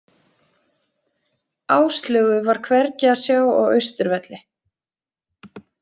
Áslaugu var hvergi að sjá á Austurvelli.